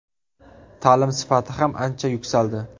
Ta’lim sifati ham ancha yuksaldi.